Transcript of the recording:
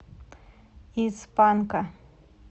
из панка